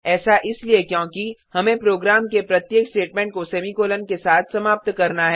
ऐसा इसलिए क्योंकि हमें प्रोग्राम के प्रत्येक स्टेटमेंट को सेमीकॉलन के साथ समाप्त करना है